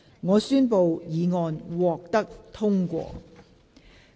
我宣布議案獲得通過。